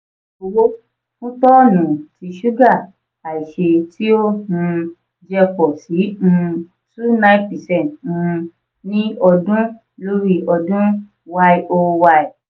iye owó fún tọ́ọ́nù ti suga aise tí ó um jẹ́ pọ si um twenty nine percent um ní ọdún lórí ọdún (yoy).